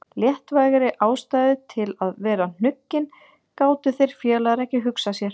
Léttvægari ástæðu til að vera hnuggin gátu þeir félagar ekki hugsað sér.